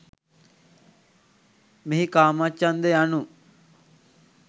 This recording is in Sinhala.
මෙහි කාමච්ඡන්ද යනු